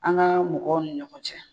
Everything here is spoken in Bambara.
An gaa mɔgɔw ni ɲɔgɔn cɛ